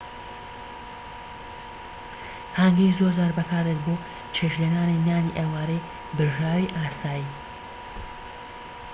هانگی زۆرجار بەکاردێت بۆ چێشتلێنانی نانی ئێوارەی برژاوی ئاسایی